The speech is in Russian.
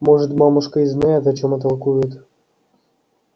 может мамушка и знает о чём толкует